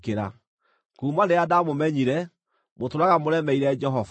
Kuuma rĩrĩa ndamũmenyire, mũtũũraga mũremeire Jehova.